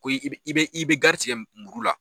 Ko i bɛ i bɛ gari tigɛ muru la.